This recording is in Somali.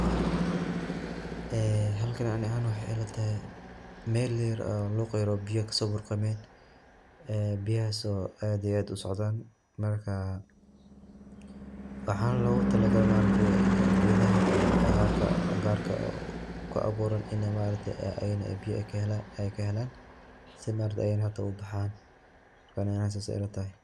Ee halkan ani ahan waxay ilatahay Mel yar oo luq tar oo biyo kaso burqamen, ee biyahas oo aad iyo aad usocdan marka waxana logu tala gale ma aragte gedaha agagaarka garka ah oo ku abuuran inay ma aragte biyaha ay kahelan si ay ubaxaan marka aniga sas aya ila tahay